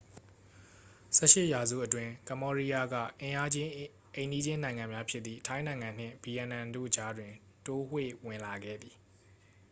18 ရာစုအတွင်း ကမ္ဘောဒီးယားက အင်အာကြီး အိမ်နီးချင်းနိုင်ငံများဖြစ်သည့် ထိုင်းနိုင်ငံနှင့် ဗီယက်နမ်တို့ကြားတွင် တိုးဝှေ့ဝင်လာခဲ့သည်